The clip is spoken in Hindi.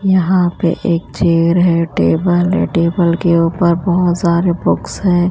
यहां पे एक चेयर है टेबल है टेबल के ऊपर बहोत सारे बुक्स है।